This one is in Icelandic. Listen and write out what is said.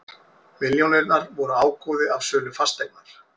Milljónirnar voru ágóði af sölu fasteignar